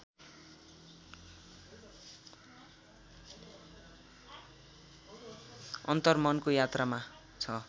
अन्तर्मनको यात्रामा छ